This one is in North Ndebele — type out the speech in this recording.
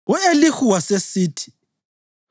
U-Elihu wasesithi: